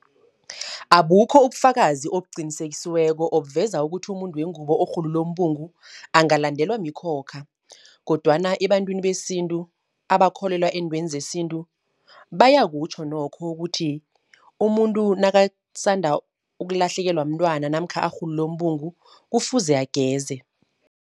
Abukho ubufakazi obuqinisekisiweko obuveza, ukuthi umuntu wengubo orhulule umbungu angalandelwa mikhokha. Kodwana ebantwini besintu, abakholelwa eentweni sesintu, bayakutjho nokho ukuthi, umuntu nakasanda ukulahlekelwa mntwana namkha arhulule umbungu kufuze ageze.